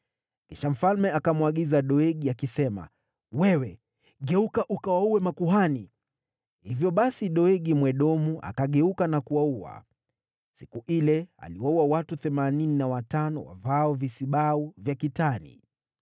Kisha mfalme akamwagiza Doegi, “Wewe geuka ukawaue makuhani.” Hivyo basi Doegi Mwedomu, akageuka na kuwaua. Siku ile aliwaua watu themanini na watano wavaao visibau vya kitani.